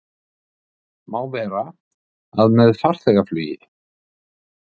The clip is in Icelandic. Má vera, að með farþegaflugi